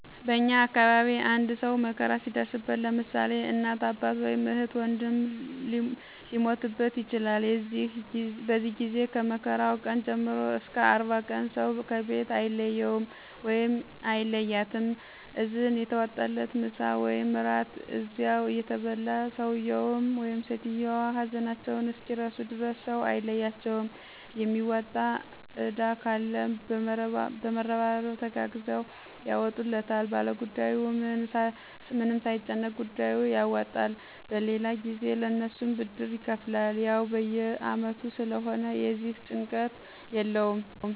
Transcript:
በእኛ አካባቢ አንድ ሰው መከራ ሲደርስበት ለምሳሌ እናት፣ አባት ወይም እህት ወንድም ሊሞትበት ይችላል የዚህ ጊዜ ከመከራው ቀን ጀምሮ እስከ 40 ቀን ሰው ከቤት አይለየውም/ያትም እዝን እየተዋጣ ምሳ ወይም እራት እዚያው እየተበላ ሰውየው/ሰትዮዋ ሀዘናቸውን እስኪረሱ ድረስ ሰው አይለያቸውም የሚወጣ እዳ ካለም በመረባረብ ተጋግዘው ያወጡታል ባለጉዳዩ ምንም ሳይጨነቅ ጉዳዩን ያወጣል በሌላ ጊዜ ለእነሱም ብድር ይከፍላል። ያው በየ አመቱ ስለሆነ የዚህ ጭንቀት የለውም።